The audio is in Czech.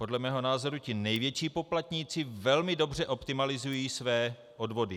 Podle mého názoru ti největší poplatníci velmi dobře optimalizují své odvody.